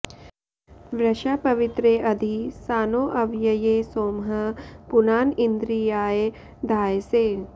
वृषा पवित्रे अधि सानो अव्यये सोमः पुनान इन्द्रियाय धायसे